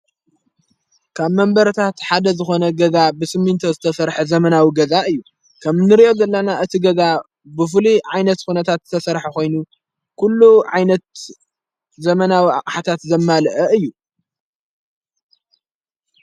ካብ መንበረታሓደ ዝኾነ ገዛ ብስሚንቶ ዝተፈርሕ ዘመናዊ ገዛ እዩ ከም ንርእዮ ዘላና እቲ ገዛ ብፍሉ ዓይነት ኾነታት ዝተሠርሕ ኾይኑ ኲሉ ዓይነት ዘመናዊ ሓታት ዘማልአ እዩ።